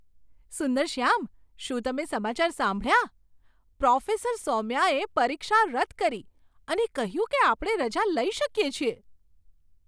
સુંદરશ્યામ, શું તમે સમાચાર સાંભળ્યા? પ્રોફેસર સૌમ્યાએ પરીક્ષા રદ કરી અને કહ્યું કે આપણે રજા લઈ શકીએ છીએ!